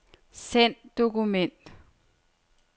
Send dokument.